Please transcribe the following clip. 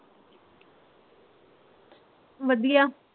ਵਧੀਆ